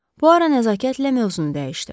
Puaro nəzakətlə mövzunu dəyişdi.